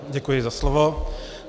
Děkuji za slovo.